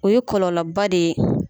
O ye kɔlɔlɔba de ye.